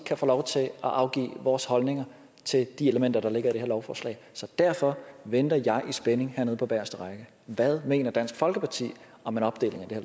kan få lov til at afgive vores holdninger til de elementer der ligger i det her lovforslag så derfor venter jeg i spænding hernede på bageste række hvad mener dansk folkeparti om en opdeling